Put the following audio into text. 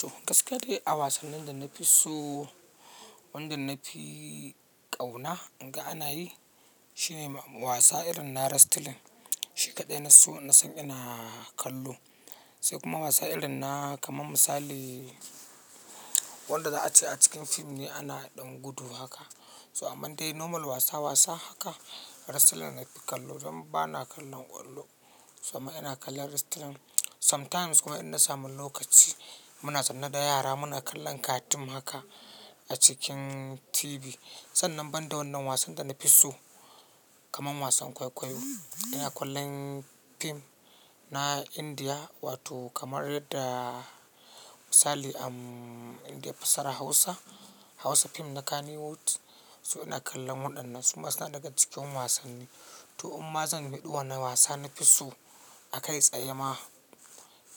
To gaskiya dai a wasannin da na fi so, wanda na fi kauna in ga ana yi, shine wasa irin na wrestling. Shi kaɗai na so na sani ina kallo. Sai kuma wasa irin na kamar misali wanda za a ce a cikin fim ne ana ɗan gudu haka. So aman dai normal wasa wasa haka wrestling na fi kallo. Dan ba na kallon ƙwallo. So amma ina kallon wrestling. Sometimes kuma in na samu lokaci muna sanar da yara muna kallon cartoon haka a cikin TV. Sannan ban da wannan wasan da na fi so, kamar wasan kwaikwayo. Ina kallon fim na Indiya wato kamar yadda misali a Indiya fassarar Hausa Hausa fim na Kannywood. So ina kallon waɗannan su ma suna daga cikin wasanni. To imma zan fadi wane wasa na fi so a kai tsaye ma